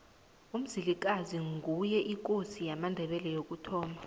umzilikazi nguye ikosi yamandebele yokuthoma